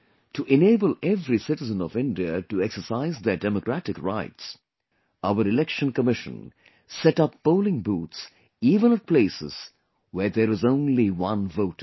To enable every citizen of India to exercise their democratic rights, our Election Commission sets up polling booths even at places where there is only one voter